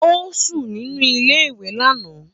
Ó sùn sínú iléèwé lánàá